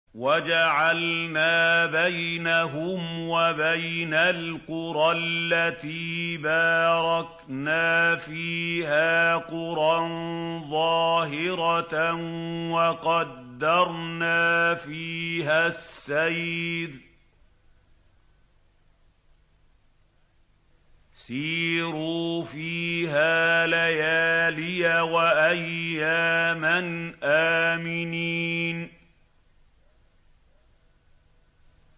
وَجَعَلْنَا بَيْنَهُمْ وَبَيْنَ الْقُرَى الَّتِي بَارَكْنَا فِيهَا قُرًى ظَاهِرَةً وَقَدَّرْنَا فِيهَا السَّيْرَ ۖ سِيرُوا فِيهَا لَيَالِيَ وَأَيَّامًا آمِنِينَ